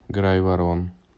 грайворон